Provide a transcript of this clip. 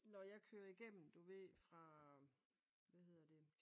Når jeg kører igennem du ved fra hvad hedder det?